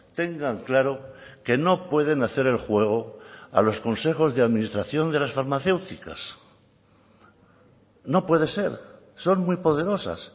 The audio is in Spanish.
tengan claro que no pueden hacer el juego a los consejos de administración de las farmacéuticas no puede ser son muy poderosas